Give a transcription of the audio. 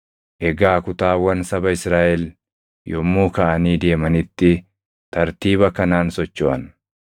Egaa kutaawwan saba Israaʼel yommuu kaʼanii deemanitti tartiiba kanaan sochoʼan.